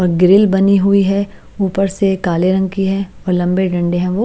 और ग्रिल बनी हुई है ऊपर से काले रंग की है और लंबी है वो--